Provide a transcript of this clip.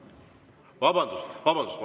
Vabandust!